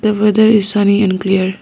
The weather is sunny and clear.